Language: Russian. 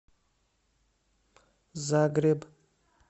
загреб